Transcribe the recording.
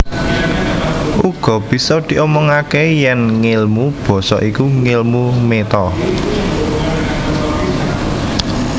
Uga bisa diomongaké yèn ngèlmu basa iku ngèlmu méta